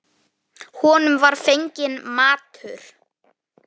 Honum var fenginn matur.